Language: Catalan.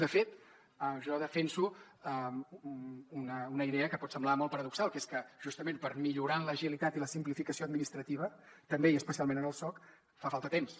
de fet jo defenso una idea que pot semblar molt paradoxal que és que justament per millorar en l’agilitat i la simplificació administrativa també i especialment en el soc fa falta temps